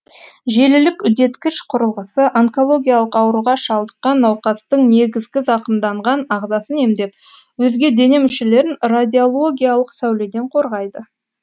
желілік үдеткіш құрылғысы онкологиялық ауруға шалдыққан науқастың негізгі зақымданған ағзасын емдеп өзге дене мүшелерін радиологиялық сәуледен қорғайды